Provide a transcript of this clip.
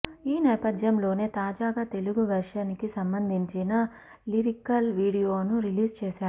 ఈ నేపథ్యంలోనే తాజాగా తెలుగు వెర్షన్ కి సంబంధించిన లిరికల్ వీడియోను రిలీజ్ చేశారు